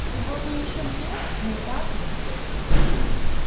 сегодня ещё две не так ли